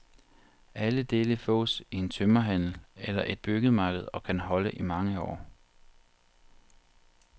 Alle dele fås i en tømmerhandel eller et byggemarked og kan holde i mange år.